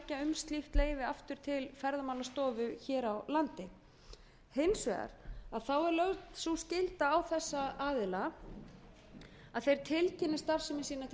slíkt leyfi aftur til ferðamálastofu hér á landi hins vegar þá er lögð sú skylda á þessa aðila að þeir tilkynni starfsemi sína til